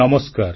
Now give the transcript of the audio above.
ନମସ୍କାର